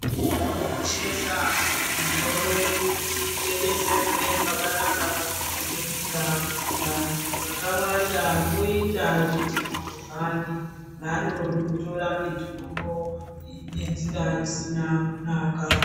Tinokoshesa mitombo yedu kuti itengeserwe pakanaka panoningirika. Vantu vakawanda voita zvechiguruvhani. Vanondotora mitombo iyi nenzira dzisina kunaka.